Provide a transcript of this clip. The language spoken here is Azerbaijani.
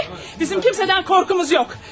Bizim kimsədən qorxumuz yoxdur.